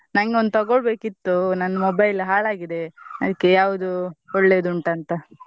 ನಂಗೆ ಒಂದ್ ತಗೊಳ್ಬೇಕಿತ್ತು ನನ್ mobile ಹಾಳಾಗಿದೆ, ಅದ್ಕೆ ಯಾವ್ದು ಒಳ್ಳೇದುಂಟಂತಾ.